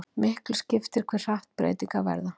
Miklu skiptir hve hratt breytingar verða.